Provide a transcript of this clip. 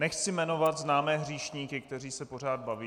Nechci jmenovat známé hříšníky, kteří se pořád baví.